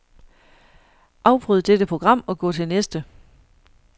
Afbryd dette program og gå til næste.